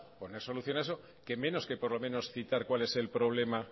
poner solución a eso qué menos que por lo menos citar cuál es el problema